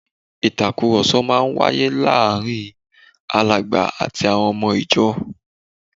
Ìtàkùrọ̀sọ máa wáyé láàárín Alàgbà àti àwọn ọmọ ìjọ